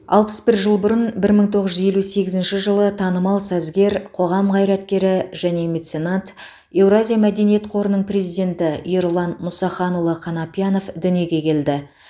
алпыс бір жыл бұрын бір мың тоғыз жүз елу сегізінші жылы танымал сазгер қоғам қайраткері және меценат еуразия мәдениет қорының президенті ерұлан мұсаханұлы қанапиянов дүниге келді